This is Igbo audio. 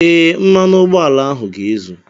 ee, mmanụ ụgbọala ahụ ga-ezu